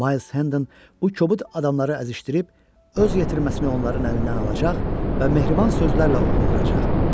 Miles Henden bu kobud adamları əzişdirib öz yetirməsini onların əlindən alacaq və mehriban sözlərlə ovunduracaq.